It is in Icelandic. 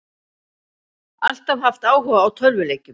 Alltaf haft áhuga á tölvuleikjum